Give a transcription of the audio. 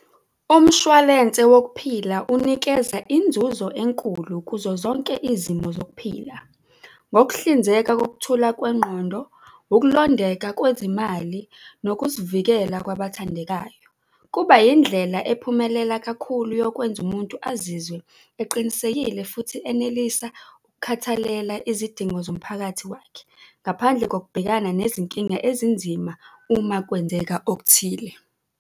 Umshwalense wokuphila unikeza inzuzo enkulu kuzo zonke izimo zokuphila. Ngokuhlinzeka kokuthula kwengqondo, ukulondeka kwezimali nokuzivikela kwabathandekayo. Kuba indlela ephumelela kakhulu yokwenza umuntu azizwe eqinisekile futhi enelisa ukukhathalela izidingo zomphakathi wakhe, ngaphandle kokubhekana nezinkinga ezinzima uma kwenzeka okuthile.